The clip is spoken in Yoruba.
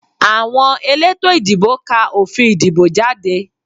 Àwọn elétò ìdìbò ká òfin ìdìbò jáde